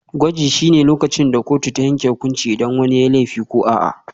Gwaji shine lokacin da kotu ta yanke hukunci idan wani yayi laifi ko a'a.